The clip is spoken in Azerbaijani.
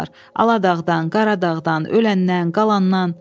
Aladağdan, Qaradağdan, öləndən, qalannan.